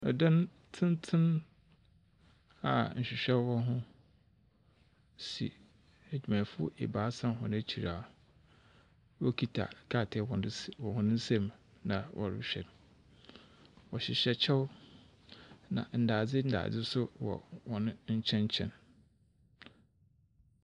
Dan tsentsen a nhwehwɛ wɔ ho si edwumayɛfo ebiasa hɔn ekyir wokitsa krataa hɔn ns wɔ hɔn nsa mu na wɔrohwɛ. Wɔhyehyɛ kyɛ na ndadze ndadze so wɔ hɔn nkyɛnkyɛn.